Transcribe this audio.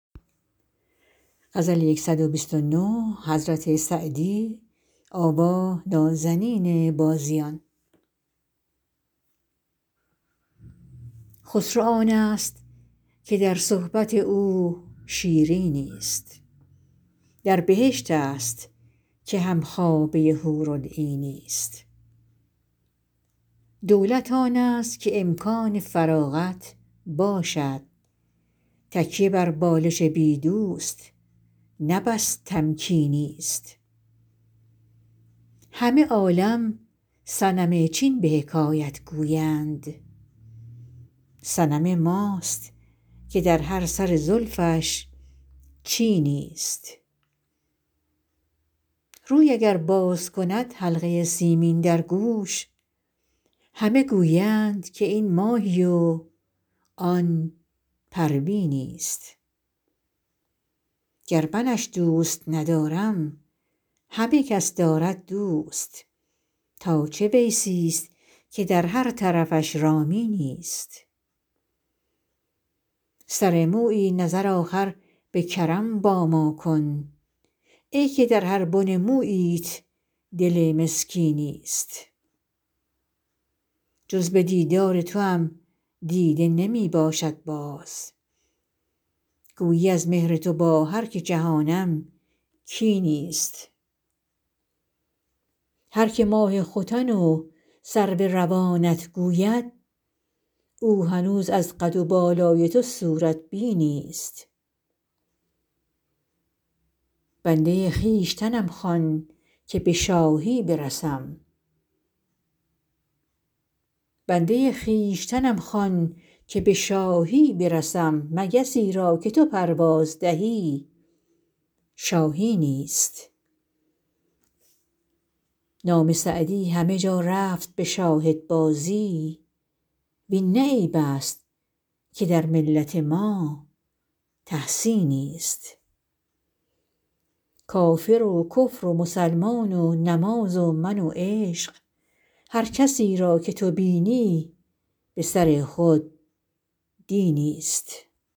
خسرو آنست که در صحبت او شیرینی ست در بهشت است که هم خوابه حورالعینی ست دولت آنست که امکان فراغت باشد تکیه بر بالش بی دوست نه بس تمکینی ست همه عالم صنم چین به حکایت گویند صنم ماست که در هر خم زلفش چینی ست روی اگر باز کند حلقه سیمین در گوش همه گویند که این ماهی و آن پروینی ست گر منش دوست ندارم همه کس دارد دوست تا چه ویسی ست که در هر طرفش رامینی ست سر مویی نظر آخر به کرم با ما کن ای که در هر بن موییت دل مسکینی ست جز به دیدار توام دیده نمی باشد باز گویی از مهر تو با هر که جهانم کینی ست هر که ماه ختن و سرو روانت گوید او هنوز از قد و بالای تو صورت بینی ست بنده خویشتنم خوان که به شاهی برسم مگسی را که تو پرواز دهی شاهینی ست نام سعدی همه جا رفت به شاهدبازی وین نه عیب است که در ملت ما تحسینی ست کافر و کفر و مسلمان و نماز و من و عشق هر کسی را که تو بینی به سر خود دینی ست